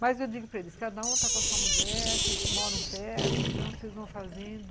Mas eu digo para eles, cada um tá com a sua mulher, vocês moram perto, então vocês vão fazendo